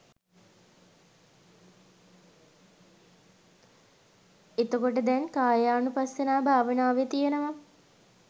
එතකොට දැන් කායානුපස්සනා භාවනාවේ තියෙනව